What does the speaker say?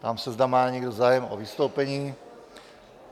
Ptám se, zda má někdo zájem o vystoupení?